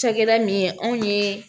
Cakɛda min ye anw ye